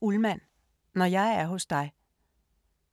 Ullmann, Linn: Når jeg er hos dig